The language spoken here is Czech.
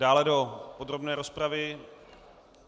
Dále do podrobné rozpravy?